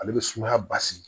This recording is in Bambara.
Ale bɛ sumaya basigi